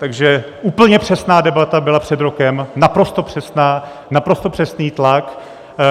Takže úplně přesná debata byla před rokem, naprosto přesná, naprosto přesný tlak,